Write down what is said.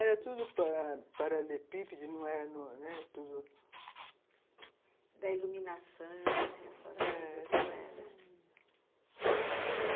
Era tudo paralepípede, não era tudo... Da iluminação, a senhora lembra como era?